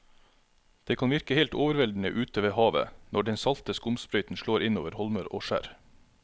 Det kan virke helt overveldende ute ved havet når den salte skumsprøyten slår innover holmer og skjær.